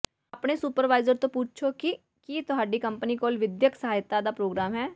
ਆਪਣੇ ਸੁਪਰਵਾਈਜ਼ਰ ਨੂੰ ਪੁੱਛੋ ਕਿ ਕੀ ਤੁਹਾਡੀ ਕੰਪਨੀ ਕੋਲ ਵਿਦਿਅਕ ਸਹਾਇਤਾ ਦਾ ਪ੍ਰੋਗਰਾਮ ਹੈ